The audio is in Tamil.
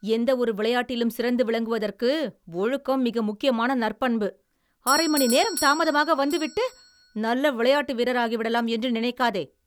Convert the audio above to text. எந்தவொரு விளையாட்டிலும் சிறந்து விளங்குவதற்கு ஒழுக்கம் மிக முக்கியமான நற்பண்பு. அரை மணி நேரம் தாமதமாக வந்து விட்டு நல்ல விளையாட்டு வீரராகிவிடலாம் என்று நினைக்காதே.